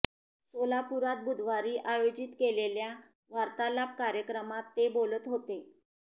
सोलापुरात बुधवारी आयोजित केलेल्या वार्तालाप कार्यक्रमात ते बोलत होते